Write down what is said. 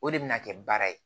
O de bɛna kɛ baara ye